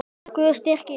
Guð styrki ykkur.